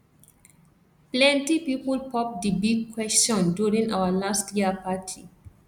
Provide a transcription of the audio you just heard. plenty people popped di big question during our last year party